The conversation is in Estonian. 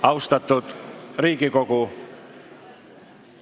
Austatud Riigikogu!